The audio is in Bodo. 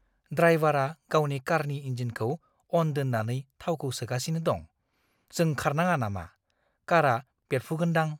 ड्राइवारा गावनि कारनि इन्जिनखौ अन दोन्नानै थावखौ सोगासिनो दं। जों खारनाङा नामा? कारआ बेरफुगोनदां।